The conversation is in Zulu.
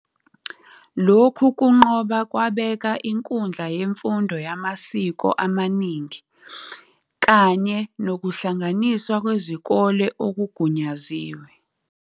Lokhu kunqoba kwabeka inkundla yemfundo yamasiko amaningi kanye nokuhlanganiswa kwezikole okugunyaziwe.